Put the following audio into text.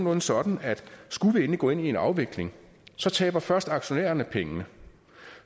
er sådan at skulle vi endelig gå ind i en afvikling så taber først aktionærerne pengene